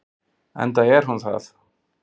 Enda er hún það.